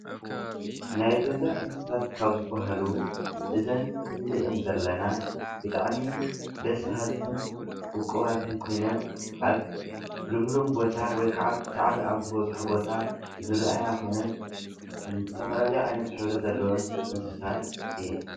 ናይ ገዛ እንስሳት ካብ ዝበሃሉ እዚአን ንሪአን ዘለና ብጣዕሚ ደስ በሃልትን ውቁባትን ኮይነን ኣብ ሉምሉም ቦታ ወይ ከዓ ኣብ ሳዕሪ ዝበዝሖ ቦታ ዝረአያ ኮይነን ዝተፈላለየ ዓይነት ሕብሪ ዘለዎን እንስሳት እየን ።